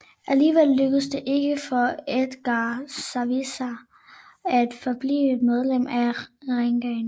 Alligevel lykkedes det ikke for Edgar Savisaar at forblive medlem af regeringen